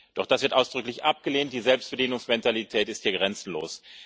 Doch das wird ausdrücklich abgelehnt, die Selbstbedienungsmentalität ist hier grenzenlos.